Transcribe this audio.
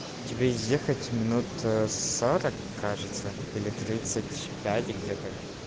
тебе ехать минут